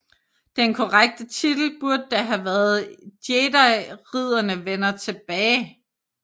Den korrekte titel burde da have været Jediridderne vender tilbage